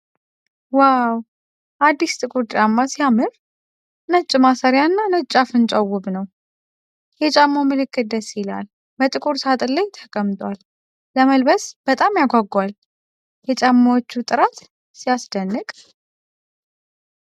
ዋው ! አዲስ ጥቁር ጫማ ሲያምር! ነጭ ማሰሪያና ነጭ አፍንጫው ውብ ነው ። የጫማው ምልክት ደስ ይላል። በጥቁር ሣጥን ላይ ተቀምጧል ። ለመልበስ በጣም ያጓጓል ። የጫማዎቹ ጥራት ሲያስደንቅ!